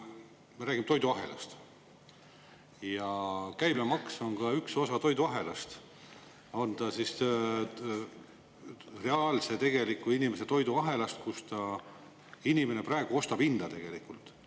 Me räägime toiduahelast ja käibemaks on üks osa toiduahelast – on ta siis reaalse, tegeliku inimese toiduahelast, kus ta, inimene ostab hinda tegelikult.